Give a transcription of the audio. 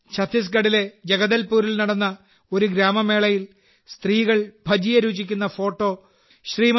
ഛത്തീസ്ഗഡിലെ ജഗ്ദൽപൂരിൽ നടന്ന ഒരു ഗ്രാമ മേളയിൽ സ്ത്രീകൾ ഭജിയ രുചിക്കുന്ന ഫോട്ടോ ശ്രീമതി